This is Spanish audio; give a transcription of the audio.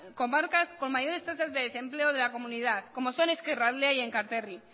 comarcas con mayores tasas de desempleo de la comunidad como son ezkerraldea y enkarterri